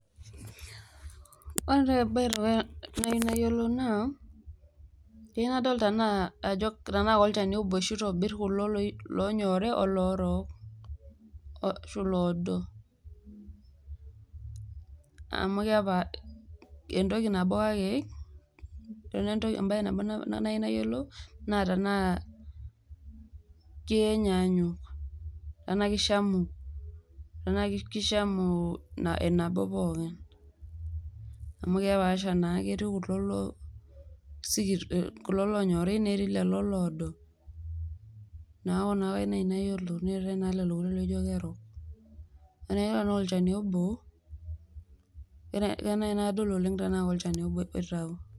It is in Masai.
kayieu nadol tenaa kolchani obo oshi oitobir kulo oonyori, oloshi kulie oodo, naa keyieu sii nayiolou tenaa kishamu entoki nanyanyuk.